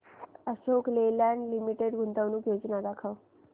Ashok Leyland limited गुंतवणूक योजना दाखव